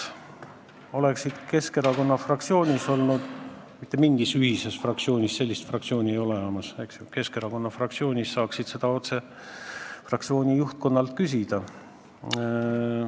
Kui oleksid edasi Keskerakonna fraktsioonis olnud – mitte mingis ühises fraktsioonis, sellist fraktsiooni ei ole olemas –, siis oleksid saanud seda otse fraktsiooni juhtkonnalt küsida.